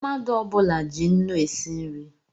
Mmadụ ọbula ji ńnú esi nri